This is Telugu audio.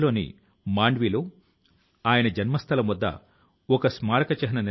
వందే మాతరమ్ ను అందించిన ఈ విద్యార్థులు గ్రీస్ కు చెందిన వారు